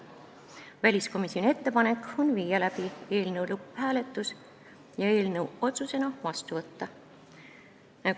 Teiseks, väliskomisjoni ettepanek on viia läbi eelnõu lõpphääletus ja eelnõu otsusena vastu võtta.